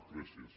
gràcies